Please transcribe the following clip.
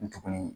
N tugunnin